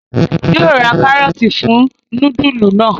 Yóó rà karọọti fún nudulu náa